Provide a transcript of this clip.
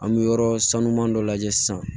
An bɛ yɔrɔ sanuman dɔ lajɛ sisan